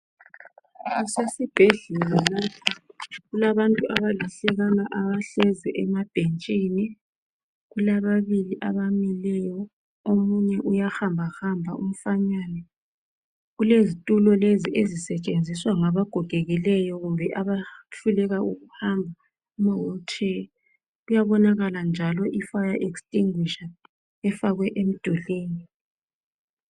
kusesibhedlela lapha kulabantu abaluhlekana abahleli emabhentsini kulababili abamileyo omunye uyahamba hamba umfanana kulezitulo lezi ezisetshenziswa ngaba gogekileyo bangakwanisiyo ukuhamba kuyabonakala njalo ifire extinguisher efakwe emdulwini